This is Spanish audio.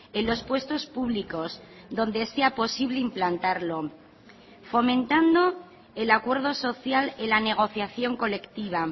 en los puestos públicos donde sea posible implantarlo fomentando el acuerdo social y la negociación colectiva